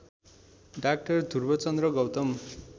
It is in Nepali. डा ध्रुवचन्द्र गौतम